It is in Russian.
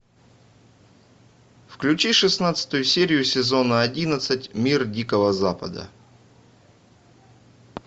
включи шестнадцатую серию сезона одиннадцать мир дикого запада